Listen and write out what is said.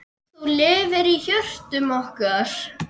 Þú lifir í hjörtum okkar.